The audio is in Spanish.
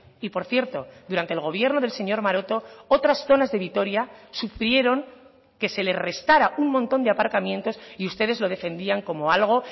y por cierto durante el gobierno del señor maroto otras zonas de vitoria sufrieron que se le restará un montón de aparcamientos y ustedes lo defendían como algo